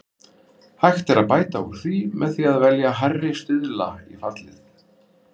Hægt er að bæta úr því með því að velja hærri stuðla í fallið.